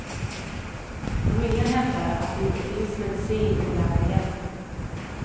Familjen hävdar att det inte finns medicin och läkarhjälp.